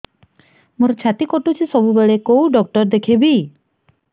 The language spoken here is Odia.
ମୋର ଛାତି କଟୁଛି ସବୁବେଳେ କୋଉ ଡକ୍ଟର ଦେଖେବି